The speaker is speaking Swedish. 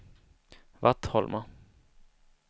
Vattholma